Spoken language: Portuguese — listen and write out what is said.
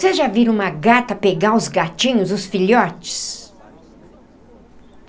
Vocês já viram uma gata pegar os gatinhos, os filhotes?